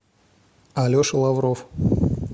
алеша лавров